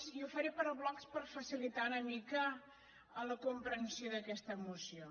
i ho faré per blocs per facilitar una mica la comprensió d’aquesta moció